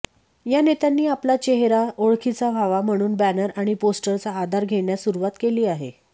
या नेत्यांनी आपला चेहेरा ओळखीचा व्हावा म्हणून बॅनर आणि पोस्टरचा आधार घेण्यास सुरुवात केली आहे